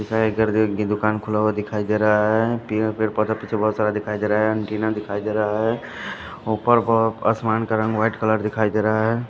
दुकान खुला हुआ दिखाई दे रहा है पेड़ पौधा पीछे बहुत सारा दिखाई दे रहा है एंटीना दिखाई दे रहा है ऊपर बहुत आसमान का रंग व्हाईट कलर दिखाई दे रहा है।